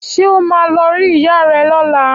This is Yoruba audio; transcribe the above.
Ṣé ọ máà lo rí ìyá rẹ lọ́la?